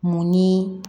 Mun ni